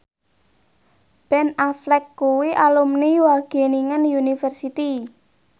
Ben Affleck kuwi alumni Wageningen University